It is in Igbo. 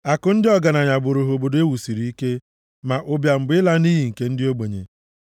Akụ ndị ọgaranya bụrụ ha obodo e wusiri ike, ma ụbịam bụ ịla nʼiyi nke ndị ogbenye.